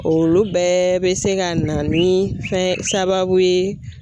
Olu bɛɛ bɛ se ka na ni fɛn sababu ye